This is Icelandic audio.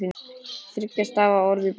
Þriggja stafa orð fyrir blek?